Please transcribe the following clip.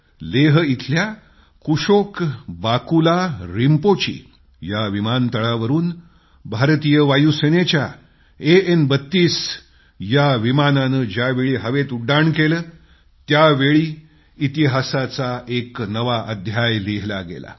लेह इथल्या कुशोक बाकुला रिम्पोची या विमानतळावरून भारतीय वायुसेनेच्या एएन 32 विमानानं ज्यावेळी हवेत उड्डाण केलं त्यावेळी इतिहासाचा एक नवा अध्याय लिहिला गेला